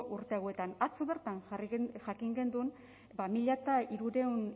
urte hauetan atzo bertan jakin genuen mila hirurehun